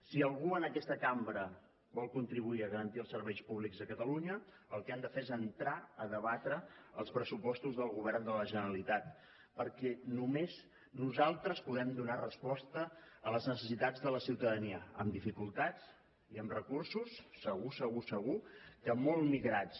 si algú en aquesta cambra vol contribuir a garantir els serveis públics a catalunya el que ha de fer és entrar a debatre els pressupostos del govern de la generalitat perquè només nosaltres podem donar resposta a les necessitats de la ciutadania amb dificultats i amb recursos segur segur segur que molt migrats